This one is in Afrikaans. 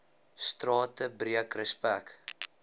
strate breek respek